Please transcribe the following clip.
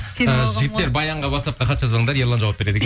жігіттер баянға ватсапқа хат жазбаңдар ерлан жауап береді